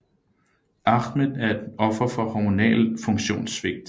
Ahmed er et offer for hormonal funktionssvigt